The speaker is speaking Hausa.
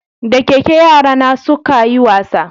Da keke yara na su ka yi wasa